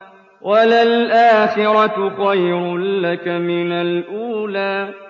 وَلَلْآخِرَةُ خَيْرٌ لَّكَ مِنَ الْأُولَىٰ